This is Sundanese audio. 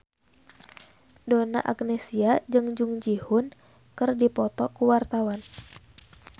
Donna Agnesia jeung Jung Ji Hoon keur dipoto ku wartawan